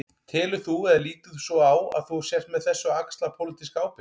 Telur þú, eða lítur svo á að þú sért með þessu að axla pólitíska ábyrgð?